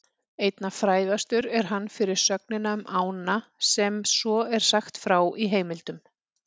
Einna frægastur er hann fyrir sögnina um ána sem svo er sagt frá í heimildum: